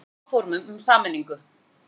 Ósammála áformum um sameiningu